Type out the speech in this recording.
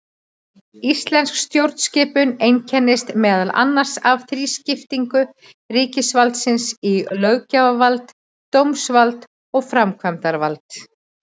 Íslensk stjórnskipun einkennist meðal annars af þrískiptingu ríkisvaldsins í löggjafarvald, dómsvald og framkvæmdavald.